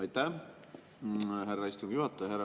Aitäh, härra istungi juhataja!